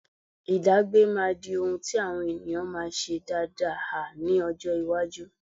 Ìdágbé máa di ohun tí àwọn èèyàn máa ṣe dáada ha ní ọjọ́ iwájú.